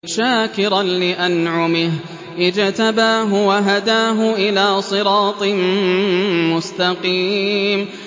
شَاكِرًا لِّأَنْعُمِهِ ۚ اجْتَبَاهُ وَهَدَاهُ إِلَىٰ صِرَاطٍ مُّسْتَقِيمٍ